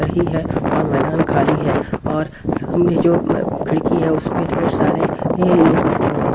रही है और मैदान खाली है और सामने जो खिड़की है उस पर ढेर सारे ये लोग बैठे हुए हैं।